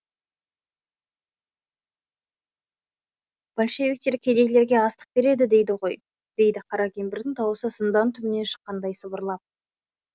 большевиктер кедейлерге астық береді дейді ғой дейді қара кемпірдің дауысы зындан түбінен шыққандай сыбырлап